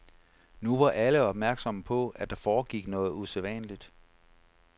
Nu var alle opmærksomme på, at der foregik noget usædvanligt.